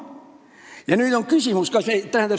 Ja nüüd on küsimus.